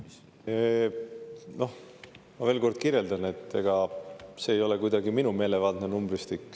Ma veel kord, et ega see ei ole kuidagi minu meelevaldne numbristik.